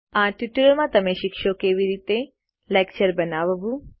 આ ટ્યુટોરીયલ માં તમે શીખશો કે કેવી રીતે લેકચર બનાવવું